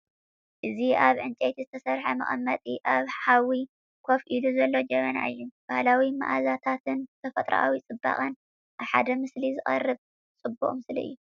እዚ ኣብ ዕንጨይቲ ዝተሰርሐ መቐመጢ ኣብ ሓዊ ኮፍ ኢሉ ዘሎ ጀበና እዩ። ባህላዊ መኣዛታትን ተፈጥሮኣዊ ጽባቐን ኣብ ሓደ ምስሊ ዘቕርብ ጽባቐ ምስሊ እዩ።